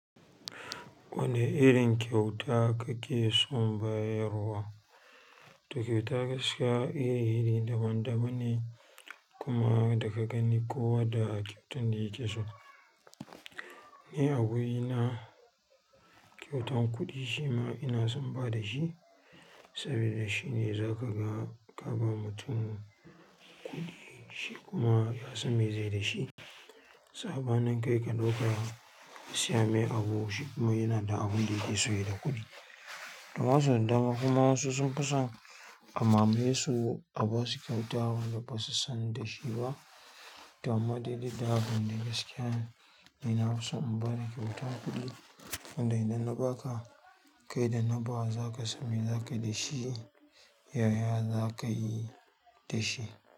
Wani irin kyauta kake son bayarwa? Ti kyauta gaskiya iri iri daban daban ne kuma daga ganin kowa da kyautan da yake so. Ni a wurina kyautan kuɗi shi ma ina son ba da shi sabida shine za ka ga ka ba mutum shi kuma yasan mai zaiyi dashi. Saɓanin kai ka ɗauka ka siya mai abu shi kuma yana da abun da yake so yi da kuɗi. Amma sau da dama kuma wasu sun fi son a mamaye su a basu kyauta wanda basu san dashi ba to amma dai duk da haka dai ni nafi son in ba da kyautan kuɗi wanda idan na ba ka kai da na bawa za ka san. Mai za ka yi da shi, yaya za ka yi da shi.